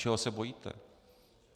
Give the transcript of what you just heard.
Čeho se bojíte?